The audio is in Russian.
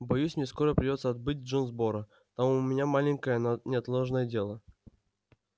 боюсь мне скоро придётся отбыть в джонсборо там у меня маленькое но неотложное дело